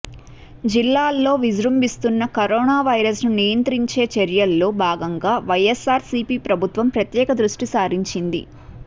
జిల్లాలో విజృంభిస్తున్న కరోనా వైరస్ను నియంత్రించే చర్యల్లో భాగంగా వైఎస్సార్ సీపీ ప్రభుత్వం ప్రత్యేక దృష్టి సారించింది